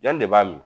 Jɔnni de b'a min